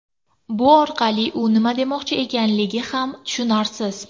Bu orqali u nima demoqchi ekanligi ham tushunarsiz.